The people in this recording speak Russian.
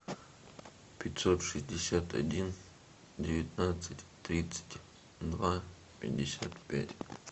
пятьсот шестьдесят один девятнадцать тридцать два пятьдесят пять